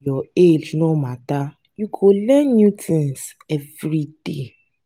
your age no mata you go dey learn new tins everyday.